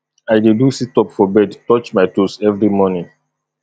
i dey do situp for bed touch my toes every morning